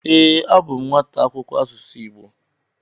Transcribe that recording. Ee, abụ m nwata akwụkwọ asụsụ Igbo.